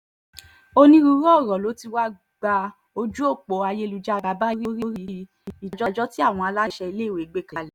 onírúurú ọ̀rọ̀ ló ti wá gba ojú ọ̀pọ̀ ayélujára báyìí lórí ìdájọ́ tí àwọn aláṣẹ iléèwé gbé kalẹ̀